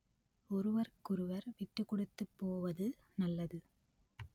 ஒருவருக்கொருவர் விட்டுக் கொடுத்து போவது நல்லது